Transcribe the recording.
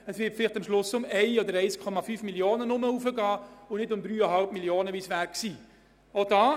Am Schluss wird die Anhebung vielleicht 1 bis 1,5 Mio. Franken betragen und nicht 3,5 Mio. Franken, wie es vorgesehen war.